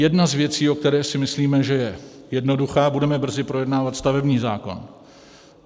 Jedna z věcí, o které si myslíme, že je jednoduchá - budeme brzy projednávat stavební zákon.